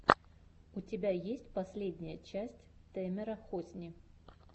у тебя есть последняя часть тэмера хосни